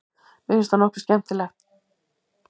Mér finnst það nokkuð skemmtilegt.